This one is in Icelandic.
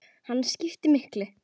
Hann skiptir miklu.